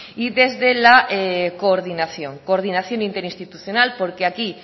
y desde la coordinación coordinación interinstitucional porque aquí